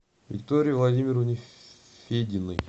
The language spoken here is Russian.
виктории владимировне фединой